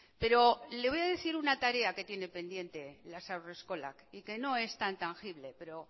pero le voy a decir una tarea que tiene pendiente las haurreskolak y que no es tan tangible pero